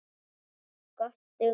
Eitt skot dugði.